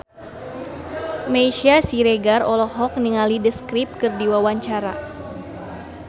Meisya Siregar olohok ningali The Script keur diwawancara